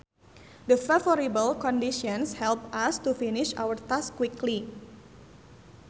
The favorable conditions helped us to finish our task quickly